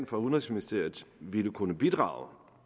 for udenrigsministeriet ville kunne bidrage